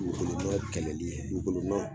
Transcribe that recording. Dugukolo nɔ kɛlɛli dugukolo nɔ